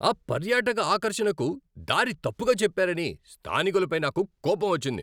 ఆ పర్యాటక ఆకర్షణకు దారి తప్పుగా చెప్పారని స్థానికులపై నాకు కోపం వచ్చింది.